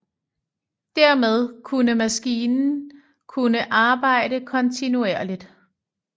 Dermed kunne maskinen kunne arbejde kontinuerligt